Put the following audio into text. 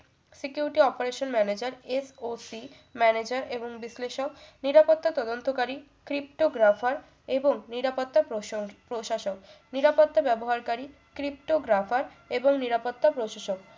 security operation maneger FOC maneger এবং বিশ্লেশক নিরাপত্তা তদন্তকারী cripto graffer এবং নিরাপত্তা প্রশ~ প্রশাসক নিরাপত্তা ব্যবহারকারী cripto graffer এবং নিরাপত্তা প্রশাসক